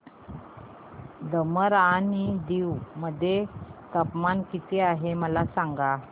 दमण आणि दीव मध्ये तापमान किती आहे मला सांगा